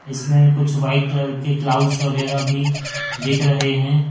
इसमें कुछ white colour के क्लाउड्स वगैरह भी दिख रहे हैं।